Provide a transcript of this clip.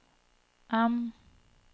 M